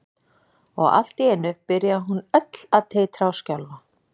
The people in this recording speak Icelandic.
Og allt í einu byrjaði hún öll að titra og skjálfa.